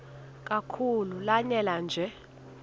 kakhulu lanela nje